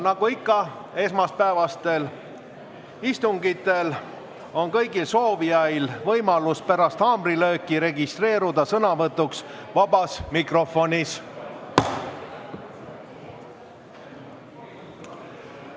Nagu esmaspäevastel istungitel ikka, on kõigil soovijail võimalus pärast haamrilööki registreeruda sõnavõtuks vabas mikrofonis.